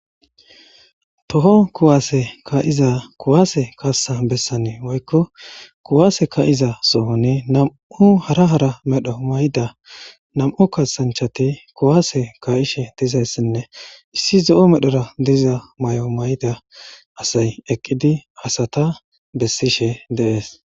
Toho kuwaase ka'iza kuwaase kassa bessanii woykko kuwaase kayiza sohoni nam'u hara hara medho mayda nam'u kasanchati kuwaase kaayishe dizayssinne issi zo'o medhora diza may'o mayda asay eqqidi asata bessishe deees